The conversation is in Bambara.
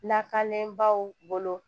Lakanenbaw bolo